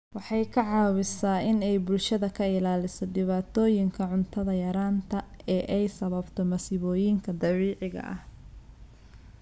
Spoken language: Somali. Waxay caawisaa in ay bulshada ka ilaaliso dhibaatooyinka cunto yaraanta ee ay sababto masiibooyinka dabiiciga ah.